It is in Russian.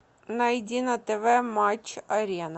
найди на тв матч арена